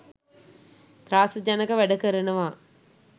ත්‍රාසජනක වැඩ කරනවා.